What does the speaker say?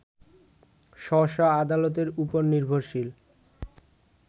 স্ব স্ব আদালতের উপর নির্ভরশীল